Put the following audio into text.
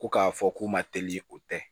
Ko k'a fɔ k'u ma teli o tɛ